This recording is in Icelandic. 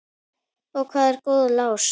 Og hvað er góður lás?